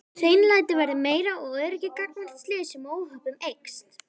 Hreinlæti verður meira og öryggi gagnvart slysum og óhöppum eykst.